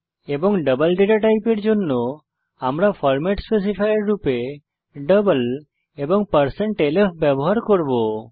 এবং double data টাইপের জন্য আমরা ফরমেট স্পেসিফায়ার রূপে ডাবল এবং lf ব্যবহার করব